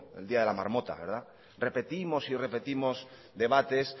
el día de la marmota repetimos y repetimos debates